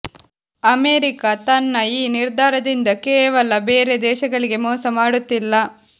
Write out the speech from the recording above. America ತನ್ನ ಈ ನಿರ್ಧಾರದಿಂದ ಕೇವಲ ಬೇರೆ ದೇಶಗಳಿಗೆ ಮೋಸ ಮಾಡುತ್ತಿಲ್ಲ